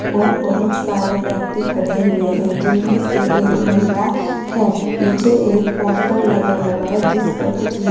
और बहोत सारे व्यक्ति खड़े हुए हैं जिनमें से एक महिला है पीछे एक पोस्टर लगा हुआ है जिस पर कुछ लिख--